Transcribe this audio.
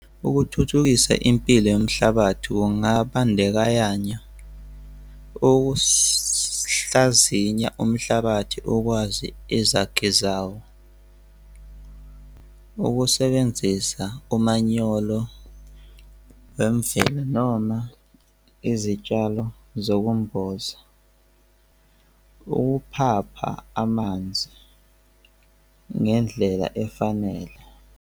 Ukuthuthukisa impilo yomhlabathi kungabandekayanya okusihlazinya umhlabathi ukwazi izakhi zawo. Ukusebenzisa umanyolo wemvelo noma izitshalo zokumboza. Ukuphapha amanzi ngendlela efanele.